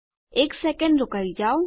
એક સેકેંડ રોકાઈ જાવ